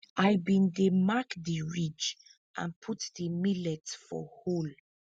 i bin dey mark di ridge and put the millet for hole